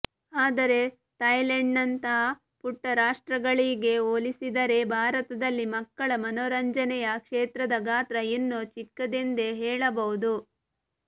ಆದರೆ ಥಾಯ್ಲೆಂಡ್ನಂಥ ಪುಟ್ಟ ರಾಷ್ಟ್ತ್ರಗಳಿಗೆ ಹೋಲಿಸಿದರೆ ಭಾರತದಲ್ಲಿ ಮಕ್ಕಳ ಮನೋರಂಜನೆಯ ಕ್ಷೇತ್ರದ ಗಾತ್ರ ಇನ್ನೂ ಚಿಕ್ಕದೆಂದೇ ಹೇಳಬಹುದು